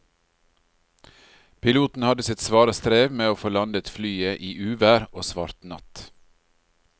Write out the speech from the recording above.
Piloten hadde sitt svare strev med å få landet flyet i uvær og svart natt.